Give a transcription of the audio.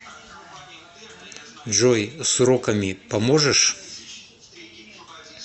джой с уроками поможешь